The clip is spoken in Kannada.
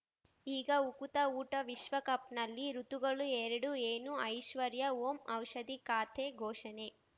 ಈಗ ಉಕುತ ಊಟ ವಿಶ್ವಕಪ್‌ನಲ್ಲಿ ಋತುಗಳು ಎರಡು ಏನು ಐಶ್ವರ್ಯಾ ಓಂ ಔಷಧಿ ಖಾತೆ ಘೋಷಣೆ